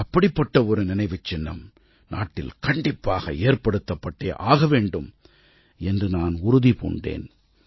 அப்படிப்பட்ட ஒரு நினைவுச் சின்னம் நாட்டில் கண்டிப்பாக ஏற்படுத்தப்பட்டே ஆக வேண்டும் என்று நான் உறுதி பூண்டேன்